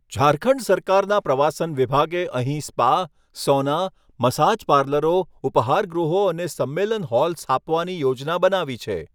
ઝારખંડ સરકારના પ્રવાસન વિભાગે અહીં સ્પા, સૉના, મસાજ પાર્લરો, ઉપાહારગૃહો અને સંમેલન હોલ સ્થાપવાની યોજના બનાવી છે.